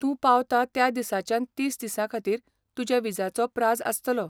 तूं पावता त्या दिसाच्यान तीस दिसांखातीर तुज्या विजाचो प्राझ आसतलो.